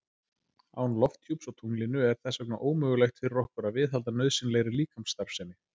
Án lofthjúps á tunglinu er þess vegna ómögulegt fyrir okkur að viðhalda nauðsynlegri líkamsstarfsemi.